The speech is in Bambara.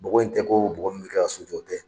Bɔgɔ in tɛ ko bɔgɔ min bi kɛ ka so jɔ o tɛ.